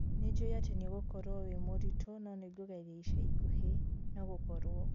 Nĩnjũĩ atĩ nĩũgũkorwo wĩ mũritũ no nĩngũgeria ica ikuhĩ, no gũkorwo